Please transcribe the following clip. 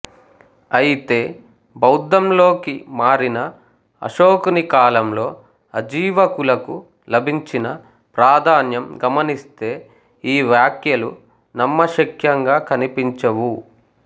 అయితే బౌద్ధంలోకి మారిన అశోకుని కాలంలో అజీవకులకు లభించిన ప్రాధాన్యం గమనిస్తే ఈ వ్యాఖ్యలు నమ్మశఖ్యంగా కనిపించవు